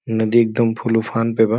नदी एकदम फुल उफान पे बा।